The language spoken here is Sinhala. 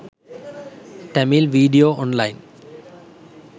tamil video online